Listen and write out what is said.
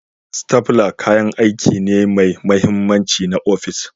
Stapler kayan aiki ne mai mahimmanci na ofis